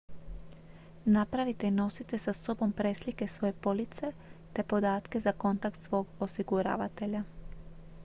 napravite i nosite sa sobom preslike svoje police te podatke za kontakt svog osiguravatelja